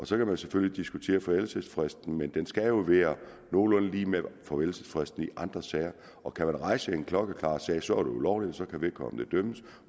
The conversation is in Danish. så kan man selvfølgelig diskutere forældelsesfristen men den skal jo være nogenlunde lig med forældelsesfristen i andre sager og kan man rejse en klokkeklar sag så er det ulovligt og så kan vedkommende dømmes